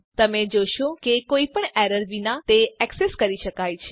તમે જોશો કે કોઈ પણ એરર વિના તે એક્સેસ કરી શકાય છે